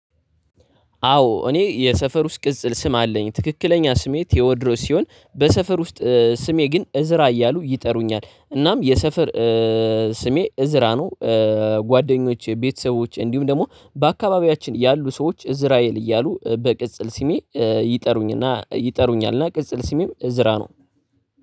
አዎ እኔ የሰፈር ውስጥ ቅጽል ስም አለኝ ትክክለኛ ስሜ ቴዎድሮስ ሲሆን በሰፈር ውስጥ ስሜ ግን እዝራ እያሉ ይጠሩኛል እናም የሰፈር ስሜ እዝራ ነው። ጓደኞቼ ቤተሰቦቼ እንዲሁም ደግሞ በአካባቢያችን ያሉ ሰዎች እዝራ እያሉ በቅጽል ስሜ ይጠሩኝና ይጠሩኛልና ቅጽል ስሜም እዝራ ነው።